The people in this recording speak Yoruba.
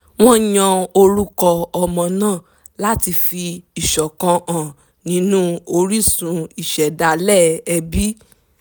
wọ́n yan orúkọ ọmọ náà láti fi ìṣọ̀kan hàn nínú orísun ìṣẹ̀dálẹ̀ ẹbí